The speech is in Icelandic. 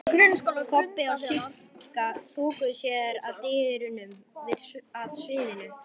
Kobbi og Sigga þokuðu sér að dyrunum að sviðinu.